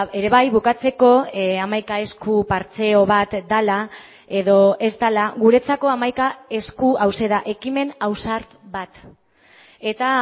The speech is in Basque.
ere bai bukatzeko hamaika esku partxeo bat dela edo ez dela guretzako hamaika esku hauxe da ekimen ausart bat eta